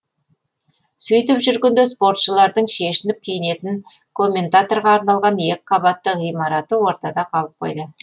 сөйтіп жүргенде спортшылардың шешініп киінетін комментаторға арналған екі қабатты ғимараты ортада қалып қойды